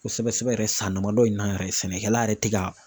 Kosɛbɛ sɛbɛ sɛbɛ yɛrɛ san damadɔ in na yɛrɛ, sɛnɛkɛla yɛrɛ tɛ ka